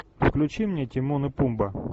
включи мне тимон и пумба